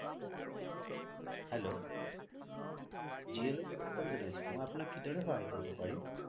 hello Jio লই সুৱাগতাম জোনাইচো মই আপুনাক কি দৰে সহাই কৰিব পাৰিম